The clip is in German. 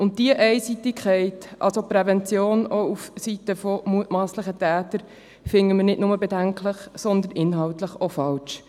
Diese Einseitigkeit, also die Prävention auf der Seite von mutmasslichen Tätern, finden wir nicht nur bedenklich, sondern auch inhaltlich falsch.